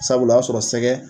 Sabula o y'a sɔrɔ sɛgɛ